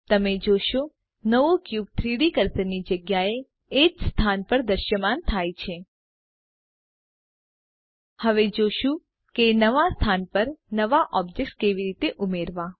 તમે જોશો નવો ક્યુબ 3ડી કર્સરની જગ્યાએ એજ સ્થાન પર દ્રશ્યમાન થાય છે હવે જોશું કે નવા સ્થાન પર નવા ઑબ્જેક્ટ્સ કેવી રીતે ઉમેરવા